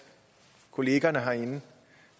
kollegaerne herinde